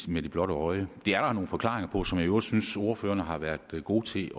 med det blotte øje det er der nogle forklaringer på som jeg i øvrigt synes ordførerne har været gode til